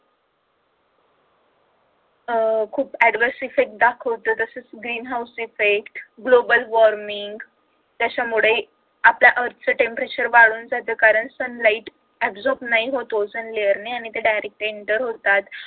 अह खूप adverse effect दाखवत तसंच greenhouse effect global warming त्याच्यामुळे आपल्या earth च temperature वाढून जात कारण sunlight absorb नाही होत ozone layer ने आणि ते directly enter होतात